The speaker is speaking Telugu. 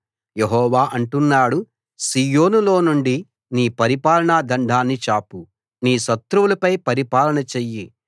యెహోవా అంటున్నాడు సీయోనులోనుండి నీ పరిపాలన దండాన్ని చాపు నీ శత్రువులపై పరిపాలన చెయ్యి